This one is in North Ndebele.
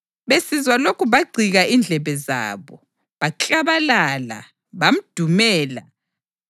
Besizwa lokhu bagcika indlebe zabo, baklabalala, bamdumela